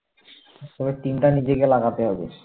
তবে team তা নিজেকে লাগাতে হবে